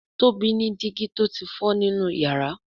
Tóbi ní digi tó tí fọ nínú iyàrá.